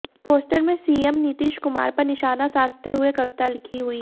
poster में CM Nitish Kumar पर निशाना साधते हुए कविता लिखी हुई